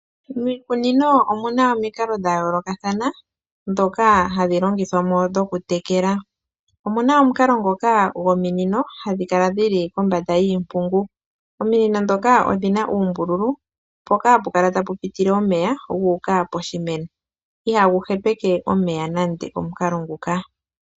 Miikunino omuna omikalo dhayoolokathana dhoka hadhi longithwamo dhokutekela, omuna omukalo ngoka gominino dhili kombanda yiimpungu. Ominino ndhoka odhina uumbululu mpoka ha pukala tapi pitile omeya guuka poshimeno. Iha gu hepeke omeya nande omukalo nguka.